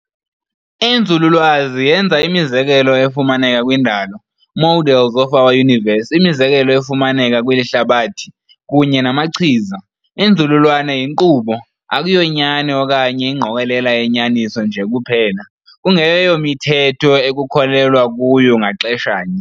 Inzululwazi yenza imizekelo efumaneka kwindalo, models of our universe}imizekelo efumaneka kweli hlabathi, kunye namachiza. Inzululwazi yinkqubo, akuyonyaniso okanye ingqokolela yenyaniso nje kuphela, kungeyomithetho ekukholelwa kuyo ngaxesha nye.